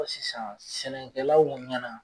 Sisan sɛnɛkɛlaw ɲɛna